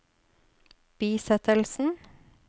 bisettelsen